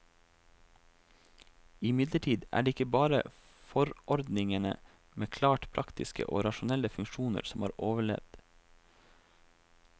Imidlertid er det ikke bare forordningene med klart praktiske og rasjonelle funksjoner som har overlevd.